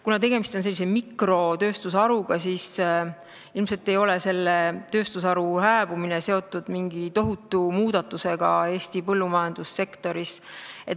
Kuna tegemist on mikrotööstusharuga, siis ilmselt ei ole selle tööstusharu hääbumine seotud mingi tohutu muudatusega Eesti põllumajandussektoris.